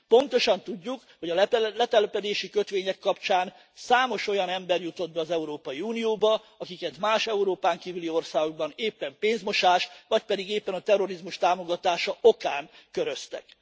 Pontosan tudjuk, hogy a letelepedési kötvények kapcsán számos olyan ember jutott be az Európai Unióba, akiket más, Európán kívüli országokban éppen pénzmosás, vagy pedig éppen a terrorizmus támogatása okán köröztek.